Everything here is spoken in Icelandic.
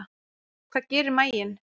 Hvað gerir maginn?